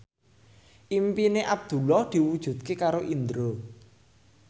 impine Abdullah diwujudke karo Indro